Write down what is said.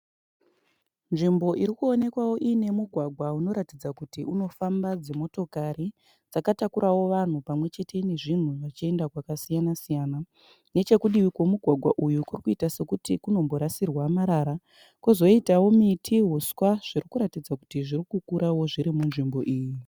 Nzvimbo iri kuonekwawo iine mugwagwa unoratidza kuti unofamba dzimotokari dzakatakurawo vanhu pamwe chete nezvinhu zvichienda kwakasiyanasiyana. Nechokudivi kwomugwagwa uyu kuri kuita sekuti kunomborasirwa marara, kwozoitawo miti neuswa zviri kuratidza kuti zviri kukura zviri munzvimbo iyi.